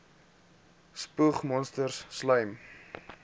spoeg monsters slym